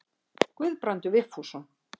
Guðbrandur Vigfússon.